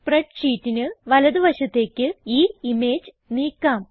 spread ഷീറ്റിന് വലത് വശത്തേക്ക് ഈ ഇമേജ് നീക്കാം